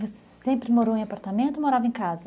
Você sempre morou em apartamento ou morava em casa?